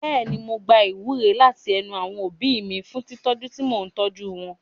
Bẹ́ẹ̀ni, mò ń gba ìwúre láti ẹnu àwọn òbí mi fún tìtọ́jú tí mò ń tọ́jú wọn.